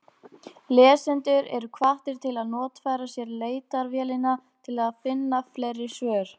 Lesendur eru hvattir til að notfæra sér leitarvélina til að finna fleiri svör.